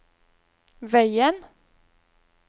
veien